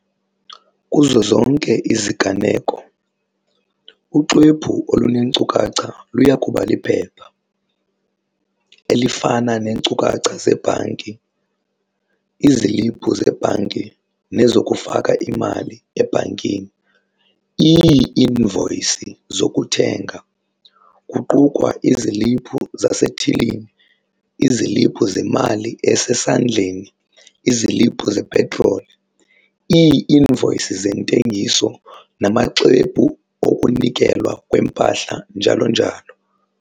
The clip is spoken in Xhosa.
Kuzo zonke iziganeko, uxwebhu oluneenkcukacha luya kuba liphepha, elifana neenkcukacha zebhanki, iziliphu zebhanki nezokufaka imali ebhankini, ii-invoyisi zokuthenga, kuqukwa iziliphu zasethilini, iziliphu zemali esesandleni, iziliphu zepetroli, ii-invoyisi zeentengiso namaxwebhu okunikelwa kwempahla njalo njalo.